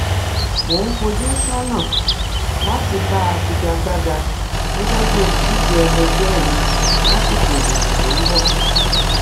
mo ń fojú sọnà láti bá a figa gbága gẹgẹ bíi olùdíje ẹlẹgbẹ mi lásìkò ìdìbò tó ń bọ